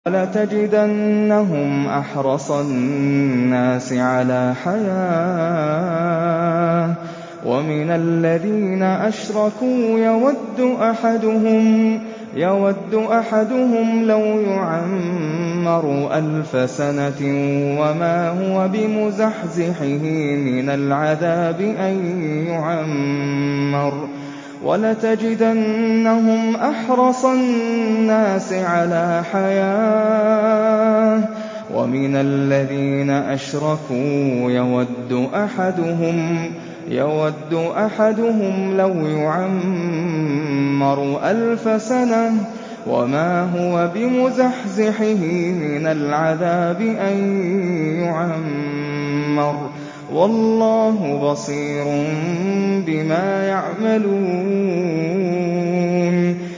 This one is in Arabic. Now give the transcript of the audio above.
وَلَتَجِدَنَّهُمْ أَحْرَصَ النَّاسِ عَلَىٰ حَيَاةٍ وَمِنَ الَّذِينَ أَشْرَكُوا ۚ يَوَدُّ أَحَدُهُمْ لَوْ يُعَمَّرُ أَلْفَ سَنَةٍ وَمَا هُوَ بِمُزَحْزِحِهِ مِنَ الْعَذَابِ أَن يُعَمَّرَ ۗ وَاللَّهُ بَصِيرٌ بِمَا يَعْمَلُونَ